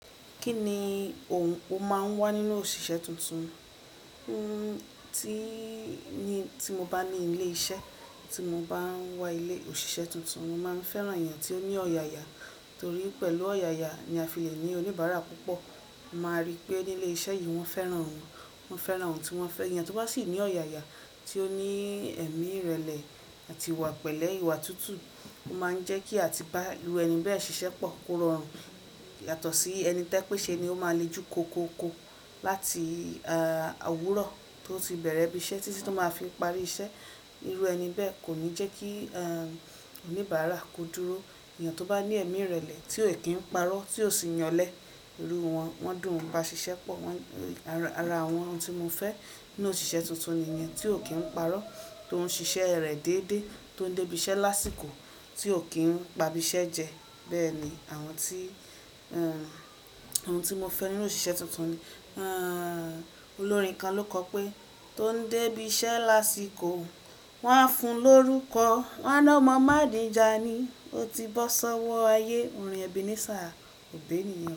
Kí ni òun ó máa ń wá nínú òṣìṣẹ́ tuntun? N óò, tí mo bá ní ilé iṣẹ́, tí mo bá ń wá ilé òṣìṣẹ́ tuntun, mo máa ń fẹ́ran èèyàn tí ó ní ọ̀yàyà torí pẹ̀lú ọ̀yàyà ni a fi lè ní oníbàárà púpọ̀. A máa rí pé ní ilé iṣẹ́ yìí wọ́n fẹ́ran òun, wọ́n fẹ́ran òun tí wọ́n fẹ́ ẹyan tó bá sì ní ọ̀yàyà, tí ó ní ẹ̀mí ìrẹ̀lẹ̀ àti ìwà pẹ̀lẹ́, ìwà tútù ó máa ń jẹ́kí àti bá irú ẹni bẹ́ẹ̀ ṣiṣẹ́ pọ̀, kó rọrùn yàtọ̀ sí ẹni tẹ́pẹ̀ ṣe ni ó máa le jù kó ko ko láti owúrọ̀ tó ti bẹ̀rẹ̀ ibi iṣẹ́ títí tó máa fi parí iṣẹ́. Irú ẹni bẹ́ẹ̀ kò ní jẹ́ kí oníbàárà kó dúró. Ẹ̀yàn tó bá ní ẹ̀mí ìrẹ̀lẹ̀, tí ó kì ń parọ́, tí ó sì ń yanlẹ́ irú wọn, wọ́n dùn ún bá ṣiṣẹ́ pọ̀. Wọ́n, ara àwọn ohun tí mo fẹ́ nínú òṣìṣẹ́ tuntun niyen tí ò kí ń parọ́, tó ń ṣiṣẹ́ rẹ̀ dédé, tó ń dé ibi iṣẹ́ lásìkò, tí ò kí ń pa ibi iṣẹ́ jẹ. Bẹ́ẹ̀ ni àwọn tí, àwọn tí mo fẹ́ nínú òṣìṣẹ́ tuntun ni. Olórin kan ló kọ pé: tó ń dé ibi iṣẹ́ lásìkò, wọ́n á fun lórúkọ. Wọn á ná ọmọ Àdìíja nìí, ó ti bọ́ sọ́wọ́ ayé. Orin Ebenezer Obey niyen ọ́.